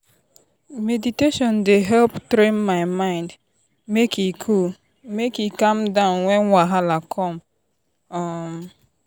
meditation dey help train my mind make e cool make e cool down when wahala come. um